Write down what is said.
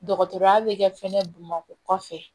Dɔgɔtɔrɔya bɛ kɛ fɛnɛ bamakɔ kɔfɛ